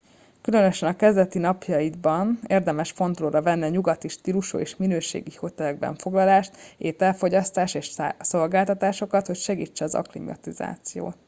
különösen a kezdeti napjaidban érdemes fontolóra venni a nyugati stílusú és minőségi hotelekben foglalást ételfogyasztást és szolgáltatásokat hogy segítse az akklimatizációt